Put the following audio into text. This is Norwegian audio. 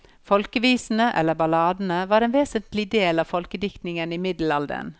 Folkevisene, eller balladene, var en vesentlig del av folkediktningen i middelalderen.